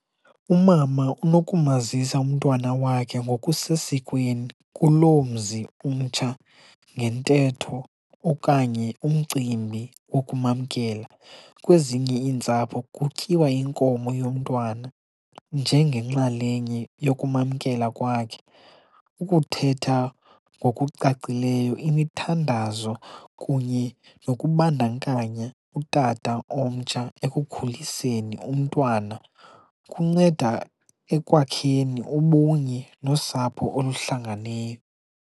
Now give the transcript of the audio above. Umama unokumazisa umntwana wakhe ngokusesikweni kuloo mzi umtsha ngentetho okanye umcimbi wokumamkela. Kwezinye iintsapho kutyiwa iinkomo yomntwana njengenxalenye yokumamkela kwakhe, ukuthetha ngokucacileyo, imithandazo kunye nokubandakanya utata omtsha ekukhuliseni umntwana kunceda ekwakheni ubunye nosapho oluhlangeneyo.